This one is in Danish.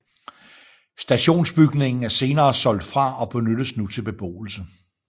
Stationsbygningen er senere solgt fra og benyttes nu til beboelse